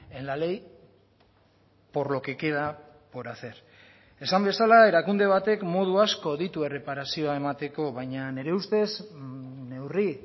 en la ley por lo que queda por hacer esan bezala erakunde batek modu asko ditu erreparazioa emateko baina nire ustez neurri